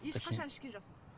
ешқашан ішкен жоқсыз